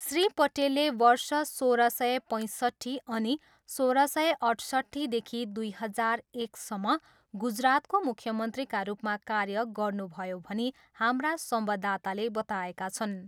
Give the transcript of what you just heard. श्री पटेलले वर्ष सोह्र सय पैँसट्ठी अनि सोह्र सय अठसट्ठीदेखि दुई हजार एकसम्म गुजरातको मुख्यमन्त्रीका रूपमा कार्य गर्नुभयो भनी हाम्रा संवाददाताले बताएका छन्।